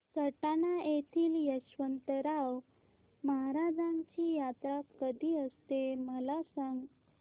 सटाणा येथील यशवंतराव महाराजांची यात्रा कशी असते मला सांग